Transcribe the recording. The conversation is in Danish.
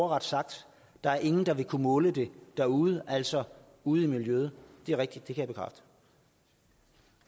ordret sagt der er ingen der vil kunne måle det derude altså ude i miljøet det er rigtigt